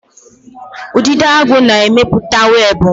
Udidoagu na-emepụta webụ.